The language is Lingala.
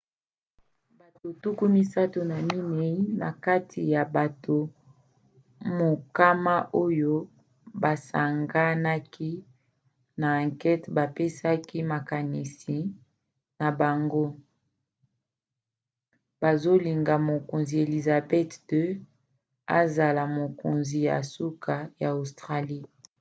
bato 34 na kati ya bato mokama oyo basanganaki na ankete bapesaki makanisi na bango bazolinga mokonzi elizabeth ii azala mokonzi ya suka ya australie